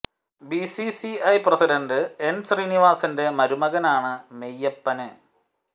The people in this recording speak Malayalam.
B C C I president N ശ്രീനിവാസന്റെ മരുമകനാണ് മെയ്യപ്പന്